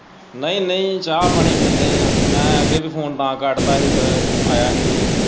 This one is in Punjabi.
ਨਈ-ਨਈ ਚਾਹ-ਪਾਣੀ ਪੀਣੇ ਆ ਮੈਂ ਅੱਗੇ ਵੀ ਫੋਨ ਤਾਂ ਕੱਟ ਤਾਂ ਹੀ ਫੇਰ ਆਇਆ ਹੀ ਕੋਈ।